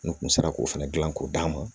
N kun sera k'o fɛnɛ dilan k'o d'a ma